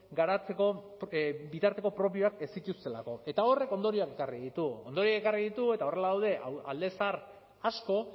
garatzeko bitarteko propioak ez zituztelako eta horrek ondorioak ekarri ditu ondorioak ekarri ditu eta horrela daude alde zahar asko